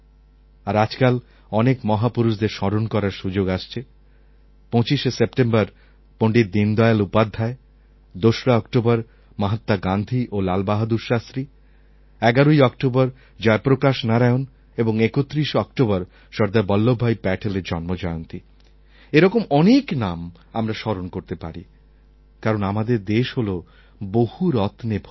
আর আজকাল অনেক মহাপুরুষদের স্মরণ করার সুযোগ আসছে ২৫শে সেপ্টেম্বর পণ্ডিত দীনদয়াল উপাধ্যায় ২রা অক্টোবর মহাত্মা গান্ধী ও লাল বাহাদুর শাস্ত্রী ১১ই অক্টোবর জয়প্রকাশ নারায়ণ এবং ৩১শে অক্টোবর সর্দার বল্লভভাই প্যাটেলএর জন্মজয়ন্তী এরকম অনেক নাম আমরা স্মরণ করতে পারি কারণ আমাদের দেশ হলো বহু রত্নে ভূষিত